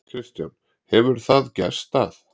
Kristján: Hefur það gerst að?